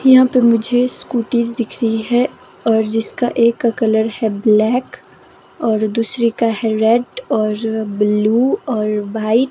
यहां पे मुझे स्कूटीज दिख रही हैं और जिसका एक का कलर है ब्लैक और दूसरी का है रेड और ब्लू और व्हाइ--